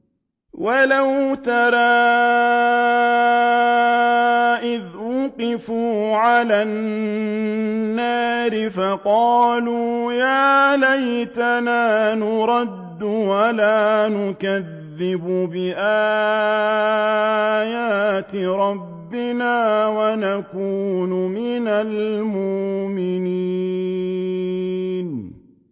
وَلَوْ تَرَىٰ إِذْ وُقِفُوا عَلَى النَّارِ فَقَالُوا يَا لَيْتَنَا نُرَدُّ وَلَا نُكَذِّبَ بِآيَاتِ رَبِّنَا وَنَكُونَ مِنَ الْمُؤْمِنِينَ